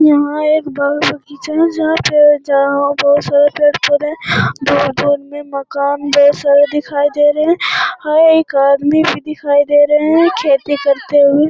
यहाँ एक बाग़-बगीचा है जहाँ पे जहाँ पे बहुत सारे पेड़-पौधे है दूर-दूर में मकान बहुत सारे दिखाई दे रहे है हां एक आदमी भी दिखाई दे रहे है खेती करते हुए।